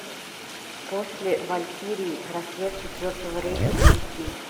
после валькирии рассвет четвертого рейха найти